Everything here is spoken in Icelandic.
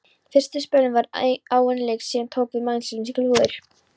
Fyrsta spölinn var áin lygn, síðan tóku við meinleysislegar flúðir.